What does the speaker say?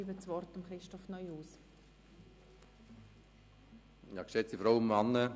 Daher hat nun Regierungsrat Neuhaus das Wort.